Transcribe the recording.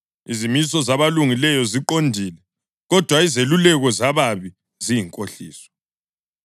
Izimiso zabalungileyo ziqondile, kodwa izeluleko zababi ziyinkohliso.